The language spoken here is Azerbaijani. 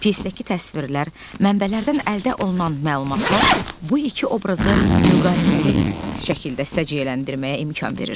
Pyesdəki təsvirlər, mənbələrdən əldə olunan məlumatlar bu iki obrazı müqayisəli şəkildə səciyyələndirməyə imkan verir.